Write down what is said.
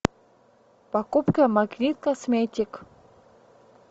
покупка магнит косметик